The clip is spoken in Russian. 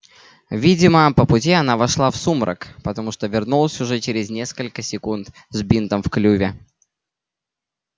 видимо по пути она вошла в сумрак потому что вернулась уже через несколько секунд с бинтом в клюве